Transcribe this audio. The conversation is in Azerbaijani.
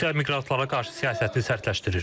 Rusiya miqrantlara qarşı siyasətini sərtləşdirir.